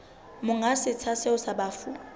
monga setsha seo sa bafu